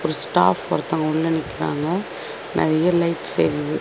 Staff ஒருத்தங்க உள்ள நிக்கிறாங்க நெறைய லைட்ஸ் எரியிது.